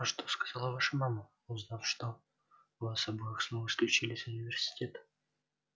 а что сказала ваша мама узнав что вас обоих снова исключили из университета